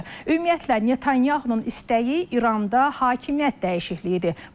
Ümumiyyətlə Netanyahunun istəyi İranda hakimiyyət dəyişikliyidir.